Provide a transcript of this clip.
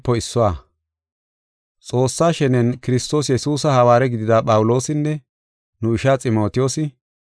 Xoossaa shenen Kiristoosi Yesuusa hawaare gidida Phawuloosinne nu ishaa Ximotiyoosi,